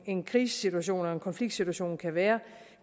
en krisesituation eller konfliktsituation kan være